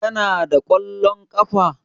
Kana da kwallon ƙafa?